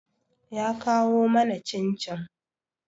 Ya kawo mana cin-cin.